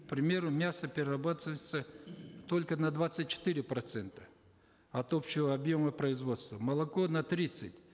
к примеру мясо перерабатывается только на двадцать четыре процента от общего объема производства молоко на тридцать